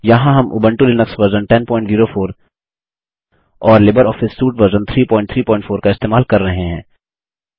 यहाँ हम Ubuntu Linux version 1004 और लिबरऑफिस सूट वर्ज़न 334 का इस्तेमाल कर रहे हैं